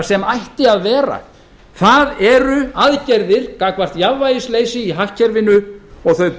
sem ætti að vera það eru aðgerðir gagnvart jafnvægisleysi í hagkerfinu og þau